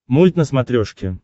мульт на смотрешке